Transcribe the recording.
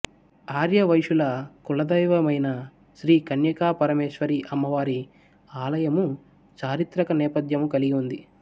ఆర్యవైశ్యుల కులదైవమయిన శ్రీ కన్యకా పరమేశ్వరీ అమ్మవారి ఆలయము చారిత్రక నేపథ్యము కలిగి ఉంది